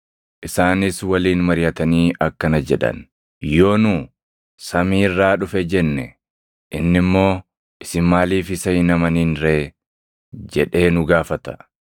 Isaanis waliin mariʼatanii akkana jedhan; “Yoo nu, ‘Samii irraa dhufe’ jenne inni immoo, ‘Isin maaliif isa hin amanin ree?’ jedhee nu gaafata.